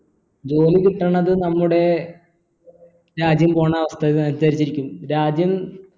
ജോലി കിട്ടണത് നമ്മുടെ രാജ്യം പോണ അവസ്ഥ അനുസരിച്ചിരിക്കും രാജ്യം